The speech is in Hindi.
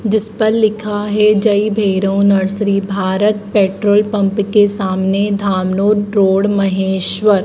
जिस पर लिखा है Jai Bhairav nursery Bharat petrol pump के सामने धामनोद रोड महेश्वर।